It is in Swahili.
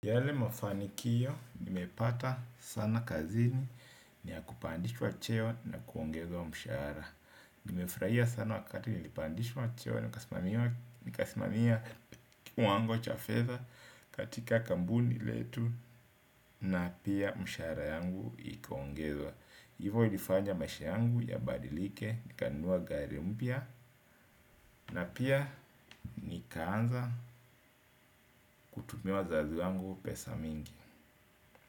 Yale mafanikiyo, nimepata sana kazini niya kupandishwa cheo na kuongezwa mshaara. Nimefraia sana wakati nilipandishwa cheo na nikasimamia kiwango cha fedha katika kambuni letu na pia mshaara yangu ikaongezwa. Hivo ilifanya maisha yangu ya badilike, nikanunua gari mpya na pia nikaanza kutumi wazazi wangu pesa mingi.